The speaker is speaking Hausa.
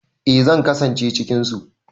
Eh zan kasance cikin su.